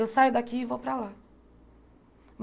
Eu saio daqui e vou para lá.